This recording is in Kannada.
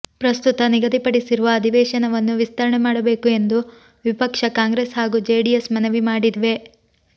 ಪ್ರಸ್ತುತ ನಿಗದಿಪಡಿಸಿರುವ ಅಧಿವೇಶನವನ್ನು ವಿಸ್ತರಣೆ ಮಾಡಬೇಕು ಎಂದು ವಿಪಕ್ಷ ಕಾಂಗ್ರೆಸ್ ಹಾಗೂ ಜೆಡಿಎಸ್ ಮನವಿ ಮಾಡಿವೆ